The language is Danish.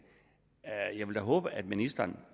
jeg vil da håbe at ministeren